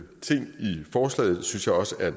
forslaget synes jeg også er